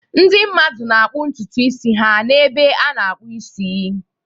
Ndị mmadụ na-akpụ ntutu isi ha n'ebe a na-akpụ isi.